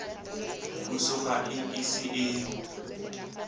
puso ga e ise e